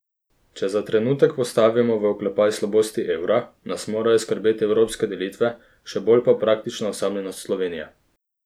Če za trenutek postavimo v oklepaj slabosti evra, nas morajo skrbeti evropske delitve, še bolj pa praktična osamljenost Slovenije.